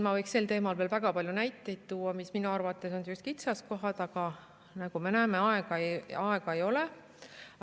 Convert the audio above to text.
Ma võiks sel teemal veel väga palju näiteid tuua, mis minu arvates on kitsaskohad, aga nagu me näeme, aega ei ole.